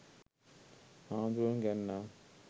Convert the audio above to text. හාමුදුරුවරුන් ගැන නම්